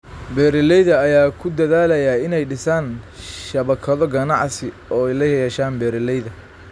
Beeralayda ayaa ku dadaalaya inay dhisaan shabakado ganacsi oo ay la yeeshaan beeralayda.